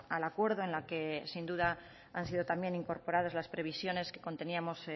al acuerdo en la que sin duda han sido también incorporadas las previsiones que conteníamos